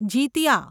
Jitiya